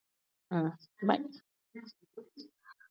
அஹ் bye